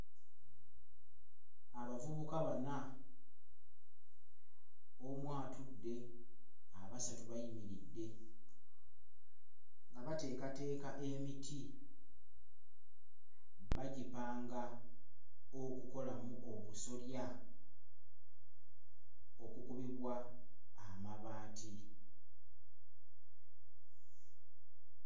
Abavubukq bana omu atudde abasatu bayimiridde nga bateekateeka emiti bagipanga okukolamu obusolya okukubibwa amabaati.